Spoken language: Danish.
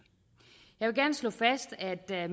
jeg vil gerne slå fast at der